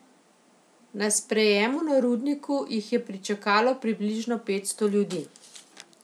Na sprejemu na Rudniku jih je pričakalo približno petsto ljudi.